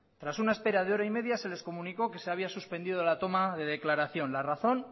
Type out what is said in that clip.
tras una espera de hora y media se les comunicó que se había suspendido la toma de declaración la razón